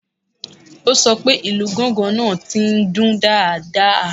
O sọ pé ìlù gángan náà ti ń dún dáadáa